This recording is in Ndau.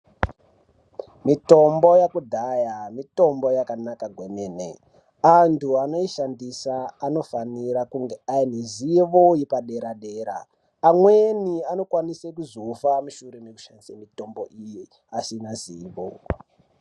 Mitombo yakudhaya mitombo yakanaka kwemene. Antu anoishandisa anofanira kunge anezivo yepadera-dera. Amweni anokwanisa kuzofa mushure mekushandise mitombo iyi asina zivo.